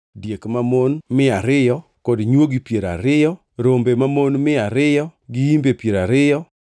Diek mamon mia ariyo kod nywogi piero ariyo, rombe mamon mia ariyo gi imbe piero ariyo,